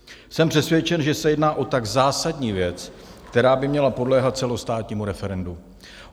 Jsem přesvědčen, že se jedná o tak zásadní věc, která by měla podléhat celostátnímu referendu.